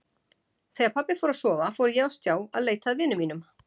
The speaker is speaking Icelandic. Þegar pabbi fór að sofa fór ég á stjá að leita að vinum mínum.